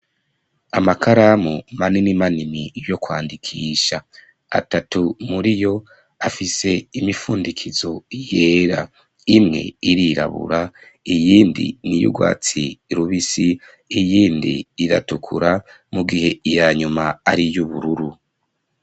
Amakaramu manini manini yo kwandikisha atatu muriyo afise imifundikizo yera imwe irirabura iyindi n'iy'ubwatsi rubisi iyindi iratukura mugihe iya nyuma ari y'ubururu.